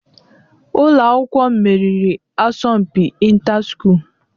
Ụlọ akwụkwọ m meriri asọmpi inter school.